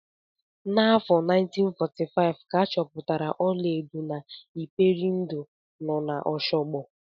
N'afọ 1945 ka a chọpụtara ọlaedo na Iperindo nọ na Oshogbo.